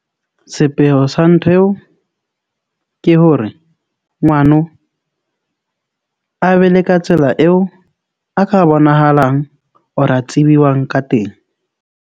Sepheo sa ntho eo ke hore ngwano a be le ka tsela eo a ka bonahalang or a tsibuwang ka teng.